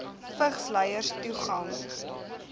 vigs lyers toegang